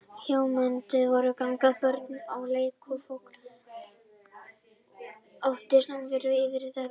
Hljómflutningstæki voru í gangi, börn að leik og fólk átti samverustund yfir mat eða drykk.